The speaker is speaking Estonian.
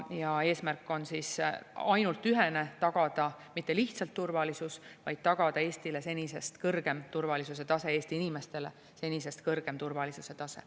Ja eesmärk on ainult ühene: tagada mitte lihtsalt turvalisus, vaid tagada Eestile senisest kõrgem turvalisuse tase, Eesti inimestele senisest kõrgem turvalisuse tase.